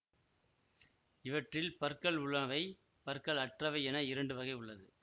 இவற்றில் பற்கள் உள்ளாவை பற்கள் அற்றவை என இரண்டு வகை உள்ளது